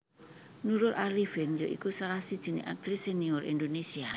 Nurul Arifin ya iku salah sijiné aktris senior Indonésia